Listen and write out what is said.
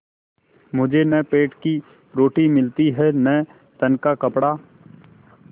मुझे न पेट की रोटी मिलती है न तन का कपड़ा